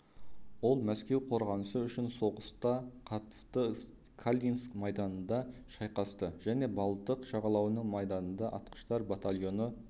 ол мәскеу қорғанысы үшін соғысқа қатысты калининск майданында шайқасты және балтық жағалауының майданында атқыштар батальоны